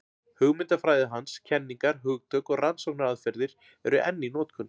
Hugmyndafræði hans, kenningar, hugtök og rannsóknaraðferðir eru enn í notkun.